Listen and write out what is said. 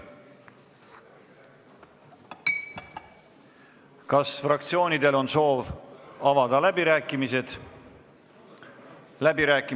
Kas fraktsioonidel on soovi pidada läbirääkimisi?